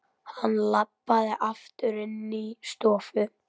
Hann labbaði aftur inní stofu.